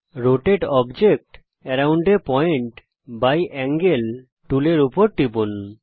rotate object around a point by angle টুলের উপর টিপুন